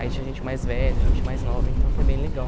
Aí tinha gente mais velha, gente mais nova, então foi bem legal.